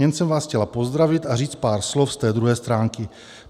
Jen jsem vás chtěla pozdravit a říct pár slov z té druhé stránky.